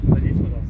Nəyə gəldi, dostum?